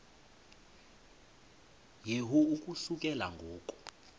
yehu ukususela ngo